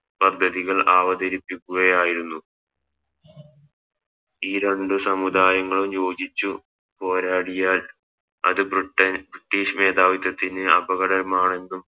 പദ്ധതികൾ അവതരിപ്പിക്കുകയായിരുന്നു ഈ രണ്ട് സമുദായങ്ങളും യോചിച്ച് പോരാടിയാൽ അത് Britain ബ്രിട്ടീഷ് മേധാവിത്തത്തിന് അപകടകരമാണെന്നും